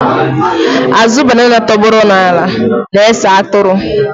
Azụ banana tọgbọrọ n'ala na-ese atụrụ.